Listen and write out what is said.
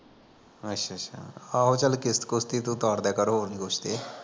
ਅਸ਼ਿਆ ਅੱਸ਼ਾ, ਆਹੋ ਚਲ ਕਿਸਤ ਕੁਸਤ ਈ ਤੂੰ ਤਾਰਦਿਆ ਕਰ ਹੋਰ ਨੀ ਕੁਸ਼ ਤੇ